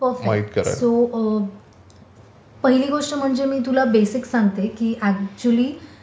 so पहिली गोष्ट म्हणजे मी तुला बेसिक सांगते कि अच्युअली